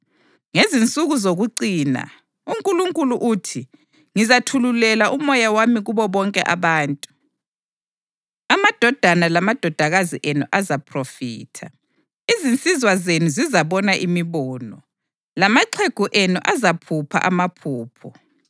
‘Ngezinsuku zokucina, uNkulunkulu uthi, Ngizathululela uMoya wami kubo bonke abantu. Amadodana lamadodakazi enu azaphrofitha, izinsizwa zenu zizabona imibono, lamaxhegu enu azaphupha amaphupho.